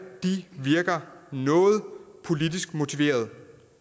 virker noget politisk motiverede